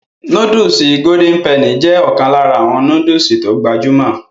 Nóódùsì Golden penny jé ọ̀kan lára àwọn nóódùsì tó gbajúmọ̀